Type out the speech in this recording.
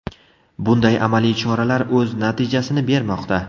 Bunday amaliy choralar o‘z natijasini bermoqda.